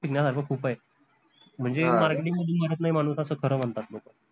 शिकन्यासारखं खूप आय म्हनजे मानूस असं खर म्हनतात लोक